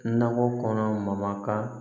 Nakɔ kɔnɔ makan